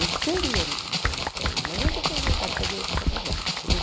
Eu seria nutricionista hoje, mas não que eu tenha vontade de fazer outra faculdade, entendeu?